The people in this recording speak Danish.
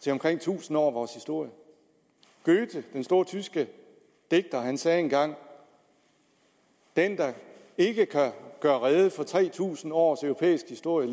til omkring tusind år af vores historie goethe den store tyske digter sagde engang den der ikke kan gøre rede for tre tusind års europæisk historie